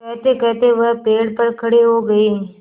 कहतेकहते वह पेड़ पर खड़े हो गए